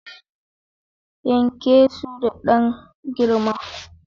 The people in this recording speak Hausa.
Yanke su da dan girma